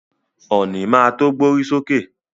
Ọ̀nì má to gbórí sókè.